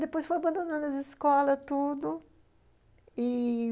Depois fui abandonando as escolas, tudo... e...